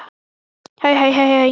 Nikki lágt og leit á Tómas.